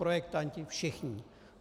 Projektanti, všichni.